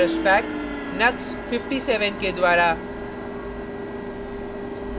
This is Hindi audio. knuxs spike brush pack knux 57 के द्वारा